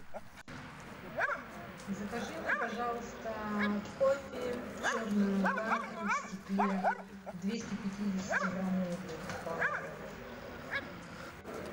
закажи мне пожалуйста кофе черную карту в стекле двести пятидесятиграммовую банку